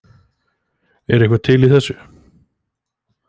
Er eitthvað til í þessu